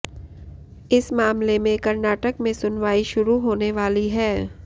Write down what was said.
इस मामले में कर्नाटक में सुनवाई शुरू होने वाली है